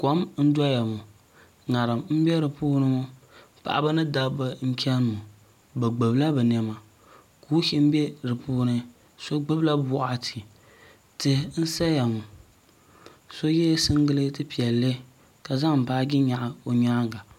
Kom n doya ŋo ŋarim n bɛ di puuni ŋo paɣaba ni dabba n chani ŋo bi gbubila bi niɛma kuushini bɛ di puuni so gbubila boɣititihi n saya ŋo so yɛ singirɛti piɛlli ka zaŋ baaji nyaɣa o nyaanga